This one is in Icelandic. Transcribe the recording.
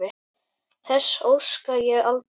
Þess óska ég aldrei.